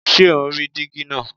Ṣé o ń rí díígí náà?